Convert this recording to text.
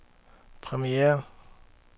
premiere